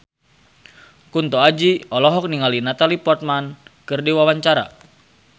Kunto Aji olohok ningali Natalie Portman keur diwawancara